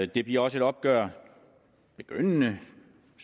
det bliver også et opgør begyndende